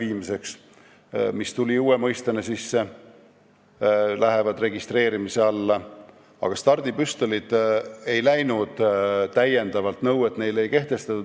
Need, mis on uute mõistetena sisse tulnud, lähevad registreerimise alla, aga stardipüstolid ei lähe, neile ei ole mingeid lisanõudeid kehtestatud.